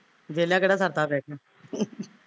ਵੇਹਲਿਆ ਕਿਹੜਾ ਸਰਦਾ ਬਹਿ ਕੇ